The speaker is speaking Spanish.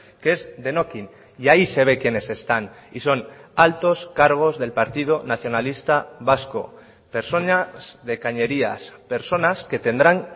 que es denokinn y ahí se ve quienes están y son altos cargos del partido nacionalista vasco personas de cañerías personas que tendrán